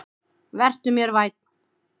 Vertu mér vænn.